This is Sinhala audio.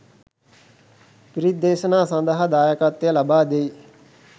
පිරිත්දේශනා සඳහා දායකත්වය ලබා දෙයි.